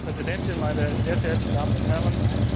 Frau Präsidentin, meine sehr verehrten Damen und Herren!